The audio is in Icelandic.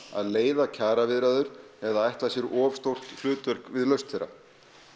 að leiða kjaraviðræður eða ætla sér of stórt hlutverk við lausn þeirra